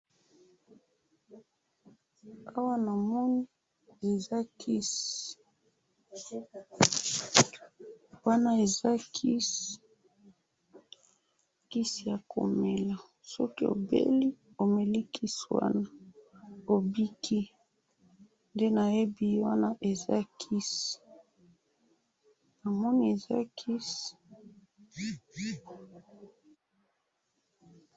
Awa namoni eza kisi, wana eza kisi , kisi yakomela soki obelisk omeli kisi wana obiki, ndenayebi wana eza kisi, namoni eza kisi